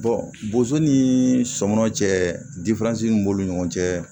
bozo ni sɔmɔ cɛ min b'olu ni ɲɔgɔn cɛ